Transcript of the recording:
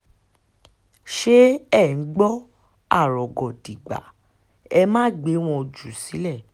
ṣé ẹ̀ ń gbọ́ arọgọ́dígbà ẹ máa gbé wọn jù sílẹ̀